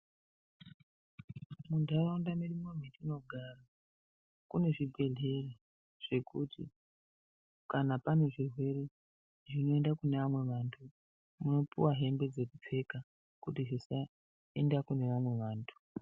Munharaunda yedu yatinogara mune zvibhehlera zvekuti kana pane zvirwere zvinoendea kune vamwe vantu munopihwa hembe dzekupfeka kuti zvisaenda kune vamwe vantu.